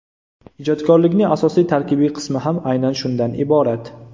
Ijodkorlikning asosiy tarkibiy qismi ham aynan shundan iborat.